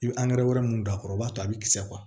I bɛ wɛrɛ minnu don a kɔrɔ o b'a to a bɛ kisɛ